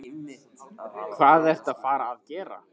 Hvað ertu að fara að gera?